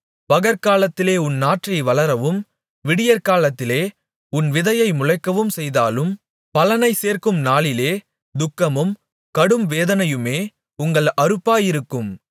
பகற்காலத்திலே உன் நாற்றை வளரவும் விடியற்காலத்திலே உன் விதையை முளைக்கவும் செய்தாலும் பலனைச் சேர்க்கும் நாளிலே துக்கமும் கடும்வேதனையுமே உங்கள் அறுப்பாயிருக்கும்